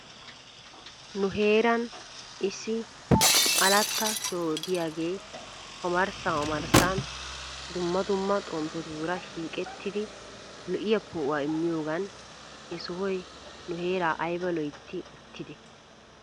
Nu heeran issi alatta soho diyaagee omarssan omarssan dumma dumma xomppetuura shiiqettidi lo'iyaa poo'uwaa immiyoogan he sohoy nu heeraa ayba loytti uttidee?